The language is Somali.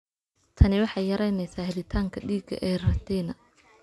Tani waxay yaraynaysaa helitaanka dhiigga ee retina.